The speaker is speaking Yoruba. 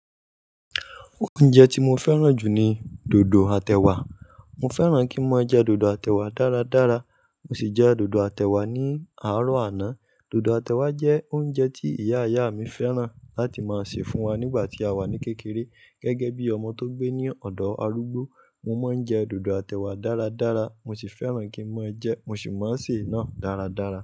Oúnjẹ tí mo fẹ́ràn jù ni dòdò àtẹ wà. Mo fẹ́ràn kí n máa jẹ dòdò àtẹ wà dáradára, mo sì jẹ dòdò àtẹ wà ní àárọ̀ àná. Dòdò àtẹ wà jẹ́ oúnjẹ tí ìyá ìyá mi fẹ́ràn láti máa sè fún wa nígbà tí a wà ní kékeré. Gẹ́gẹ́ bí ọmọ tó gbé ní ọ̀dọ̀ arúgbó, mo máa ń jẹ dòdò àtẹ wà dáradára, mo sì fẹ́ràn kí n máa jẹ ẹ́, mo sì máa sè é náà dáradára.